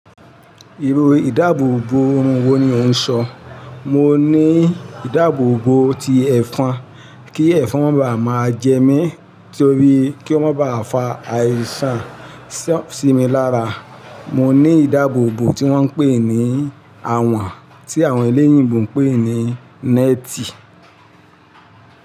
Irú ìdáàbòbò òórùn wo ni ò ń sọ? Mo ní ìdáàbòbò ti ẹ̀fọn kí ẹ̀fọn máa ba à máa jẹ mí torí kí ó máa ba à fa àìsàn sí mi lára. Mo ní ìdáàbòbò tí wọ́n ń pè ní awàn, tí àwọn eléyìnbo ń pè ní net.